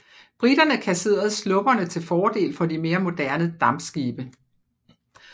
Briterne kasserede slupperne til fordel for de mere moderne dampskibe